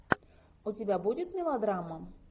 у тебя будет мелодрама